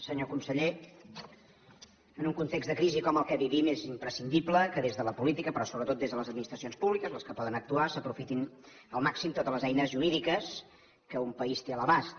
senyor conseller en un context de crisi com el que vivim és imprescindible que des de la política però sobretot des de les administracions públiques les que poden actuar s’aprofitin al màxim totes les eines jurídiques que un país té a l’abast